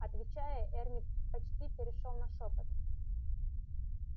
отвечая эрни почти перешёл на шёпот